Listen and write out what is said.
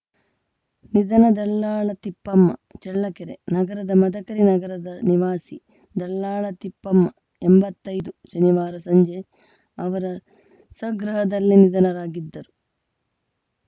ನಿಧನ ದಲ್ಲಾಳ ತಿಪ್ಪಮ್ಮ ಚಳ್ಳಕೆರೆ ನಗರದ ಮದಕರಿ ನಗರದ ನಿವಾಸಿ ದಲ್ಲಾಳ ತಿಪ್ಪಮ್ಮ ಎಂಬತ್ತೈದು ಶನಿವಾರ ಸಂಜೆ ಅವರ ಸ್ವಗೃಹದಲ್ಲೇ ನಿಧನರಾಗಿದ್ದರು